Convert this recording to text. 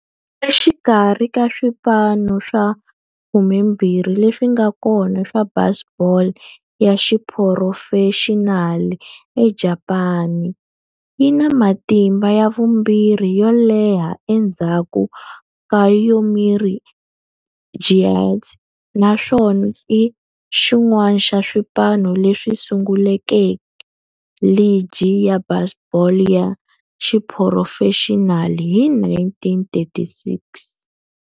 Exikarhi ka swipano swa 12 leswi nga kona swa baseball ya xiphurofexinali eJapani, yi na matimu ya vumbirhi yo leha endzhaku ka Yomiuri Giants, naswona i xin'wana xa swipano leswi sunguleke ligi ya baseball ya xiphurofexinali hi 1936.